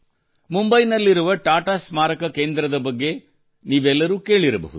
ಮುಂಬೈನಲ್ಲಿರುವ ಟಾಟಾ ಸ್ಮಾರಕ ಕೇಂದ್ರದ ಬಗ್ಗೆ ನೀವೆಲ್ಲರೂ ಕೇಳಿರಬಹುದು